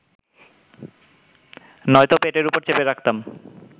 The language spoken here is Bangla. নয়তো পেটের ওপর চেপে রাখতাম